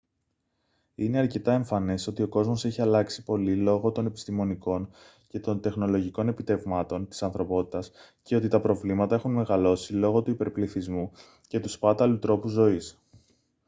είναι αρκετά εμφανές ότι ο κόσμος έχει αλλάξει πολύ λόγω των επιστημονικών και των τεχνολογικών επιτευγμάτων της ανθρωπότητας και ότι τα προβλήματα έχουν μεγαλώσει λόγω του υπερπληθυσμού και του σπάταλου τρόπου ζωής